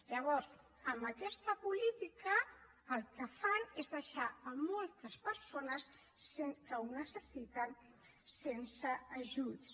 llavors amb aquesta política el que fan és deixar moltes persones que ho necessiten sense ajuts